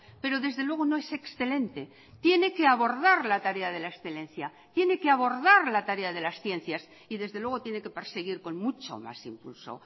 pero desde luego no es excelente tiene que abordar la tarea de la excelencia tiene que abordar la tarea de las ciencias y desde luego tiene que perseguir con mucho más impulso